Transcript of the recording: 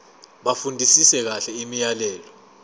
bafundisise kahle imiyalelo